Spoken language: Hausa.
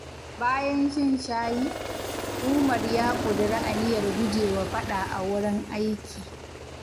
Bayan shan shayi, Umar ya ƙudiri aniyar gujewa faɗa a wurin aiki.